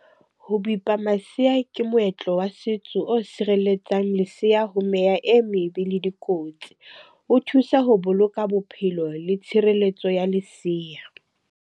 Ho bipa masea ke moetlo wa setso o sireletsang leseya ho meya e mebe le dikotsi. O thusa ho boloka bophelo le tshireletso ya lesea.